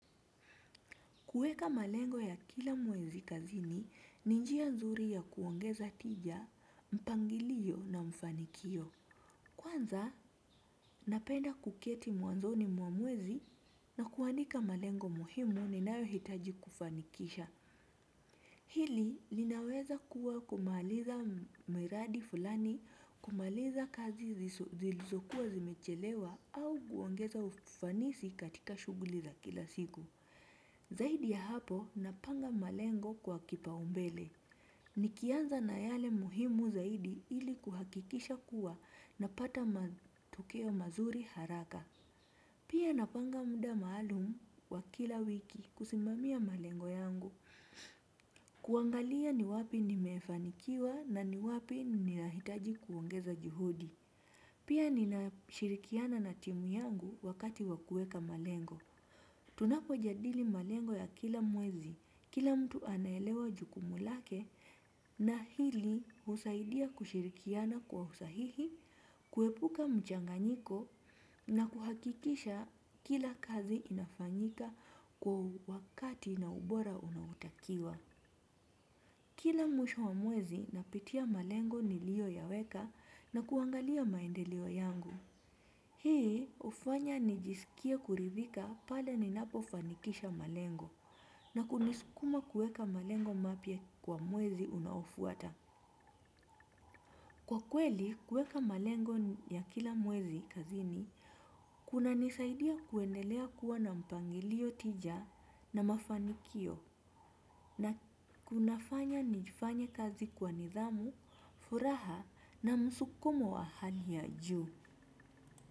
Kuweka malengo ya kila mwezi kazini, ni njia nzuri ya kuongeza tija, mpangilio na mfanikio. Kwanza, napenda kuketi mwanzoni mwamwezi na kuandika malengo muhimu ninayo hitaji kufanikisha. Hili, linaweza kuwa kumaliza miradi fulani, kumaliza kazi zilizokuwa zimechelewa au kuongeza ufanisi katika shughuli za kila siku. Zaidi ya hapo napanga malengo kwa kipaumbele. Nikianza na yale muhimu zaidi ili kuhakikisha kuwa napata matokeo mazuri haraka. Pia napanga muda maalumu wa kila wiki kusimamia malengo yangu. Kuangalia ni wapi nimefanikiwa na ni wapi ni nahitaji kuongeza juhudi. Pia nina shirikiana na timu yangu wakati wakuweka malengo. Tunapo jadili malengo ya kila mwezi, kila mtu anaelewa jukumu lake na hili husaidia kushirikiana kwa usahihi, kuepuka mchanganyiko na kuhakikisha kila kazi inafanyika kwa wakati na ubora unaotakiwa. Kila mwisho wa mwezi napitia malengo niliyo ya weka na kuangalia maendeleo yangu. Hii hufanya nijisikie kuridhika pale ninapo fanikisha malengo na kunisukuma kueka malengo mapya kwa mwezi unaofuata. Kwa kweli kuweka malengo ya kila mwezi kazini, kuna nisaidia kuendelea kuwa na mpangilio tija na mafanikio na kunafanya nifanye kazi kwa nidhamu, furaha na musukumo wa hali ya juu.